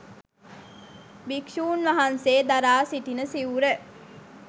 භික්‍ෂූන් වහන්සේ දරා සිටින සිවුර